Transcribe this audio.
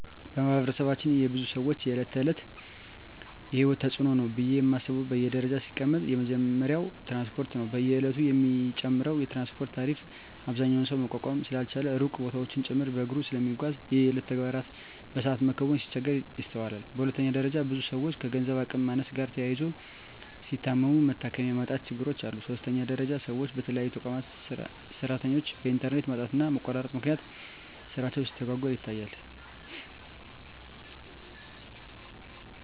በማህበረሰባችን የብዙ ሰወች የእለት ተእለት የሂወት ተጽኖ ነው ብየ ማስበው በደረጃ ሲቀመጥ የመጀመሪያው ትራንስፓርት ነው። በየእለቱ የሚጨምረው የትራንስፓርት ታሪፍ አብዛኛው ሰው መቋቋም ስላልቻለ ሩቅ ቦታወችን ጭምርት በእግሩ ስለሚጓዝ የየእለት ተግባሩን በሰአት መከወን ሲቸገር ይስተዋላል። በሁለተኛ ደረጃ ብዙ ሰወች ከገንዘብ አቅም ማነስ ጋር ተያይዞ ሲታመሙ መታከሚያ የማጣት ችግሮች አሉ። በሶስተኛ ደረጃ ሰወች በተለይ የተቋማት ሰራተኞች በእንተርኔት ማጣትና መቆራረጥ ምክንያት ስራቸው ሲስተጓጎል ይታያል።